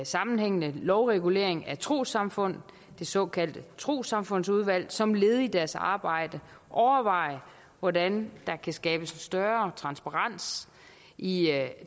sammenhængende lovregulering af trossamfundene det såkaldte trossamfundsudvalg som led i deres arbejde overveje hvordan der kan skabes en større transparens i